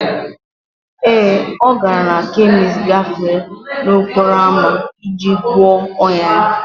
Ee, ọ gara na kemist gafee n'okporo ámá iji gwọọ ọnyá ya